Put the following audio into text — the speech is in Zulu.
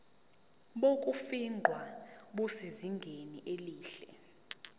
bokufingqa busezingeni elihle